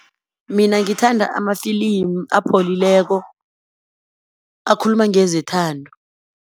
Mina ngithanda amafilimu apholileko, akhuluma ngezethando.